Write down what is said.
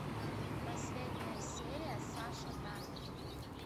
последняя серия саша таня